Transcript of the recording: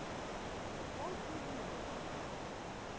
walt disney world